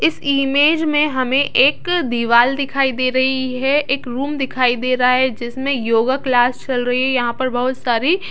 इस इमेज मे हमें एक दिवाल दिखाई दे रही है एक रूम दिखाई दे रहा है जिसमें योगा क्लास चल रही है यहा पर बहुत सारी--